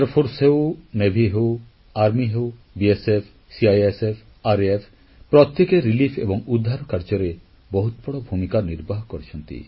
ବିମାନ ବାହିନୀ ହେଉ ନୌସେନା ହେଉ ସ୍ଥଳସେନା ହେଉ ସୀମା ସୁରକ୍ଷା ବଳ ସିଆଇଏସଏଫ ତ୍ୱରିତ କାର୍ଯ୍ୟାନୁଷ୍ଠାନ ବାହିନୀ ପ୍ରତ୍ୟେକେ ରିଲିଫ ଏବଂ ଉଦ୍ଧାର କାର୍ଯ୍ୟରେ ବହୁତ ବଡ଼ ଭୂମିକା ନିର୍ବାହ କରିଛନ୍ତି